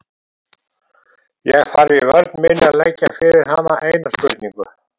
Ég þarf í vörn minni að leggja fyrir hann eina spurningu.